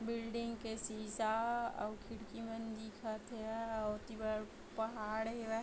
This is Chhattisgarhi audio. बिल्डिंग के शीशा अउ खिड़की मन दिखत हेवय अउ ओती बर पहाड़ हेवय।